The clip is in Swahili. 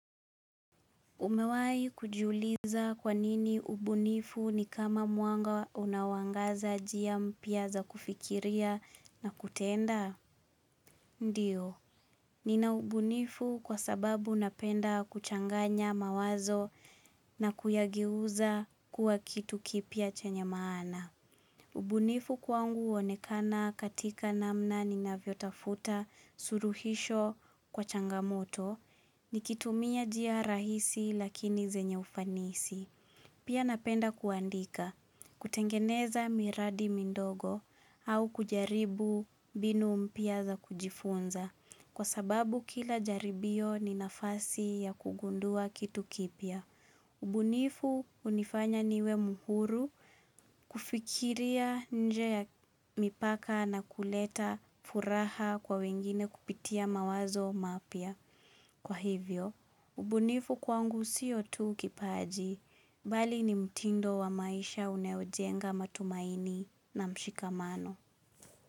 Umewahi kujuliza kwa nini ubunifu ni kama mwanga unaoangaza njia mpya za kufikiria na kutenda? Ndio, nina ubunifu kwa sababu napenda kuchanganya mawazo na kuyageuza kuwa kitu kipya chenye maana. Ubunifu kwangu huonekana katika namna ninavyotafuta suruhisho kwa changamoto. Ni kitumia njia rahisi, lakini zenye ufanisi Pia napenda kuandika, kutengeneza miradi mindogo, au kujaribu mbinu mpya za kujifunza, kwa sababu kila jaribio ni nafasi ya kugundua kitu kipya ubunifu hunifanya niwe mhuru kufikiria nje ya mipaka, na kuleta furaha kwa wengine kupitia mawazo mapya. Kwa hivyo, ubunifu kwangu sio tu kipaji, mbali ni mtindo wa maisha unaojenga matumaini na mshikamano.